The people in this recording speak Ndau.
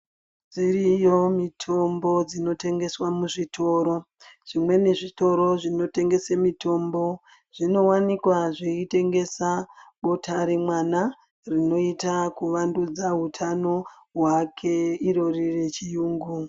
Dziriyo mitombo dzinotengeswa muzvitoro zvimweni zvitoro zvinotengese mitombo zvinowanikwa zveitengesa bota remwana rinoita kuvandudza hutano hwake irori rechiyungu .